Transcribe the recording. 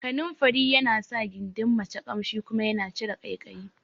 Kananfari yana sa gindin mace Ƙamshi kuma yana cire ƙaikayi